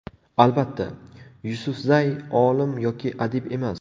Albatta, Yusufzay olim yoki adib emas.